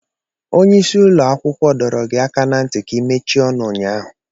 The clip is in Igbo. Onye isi ụlọ akwụkwọ dọrọ gị aka ná ntị ka ị mechie ọnụ ụnyaahụ!